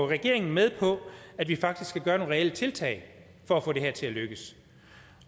regeringen med på at vi faktisk kan reelle tiltag for at få det her til at lykkes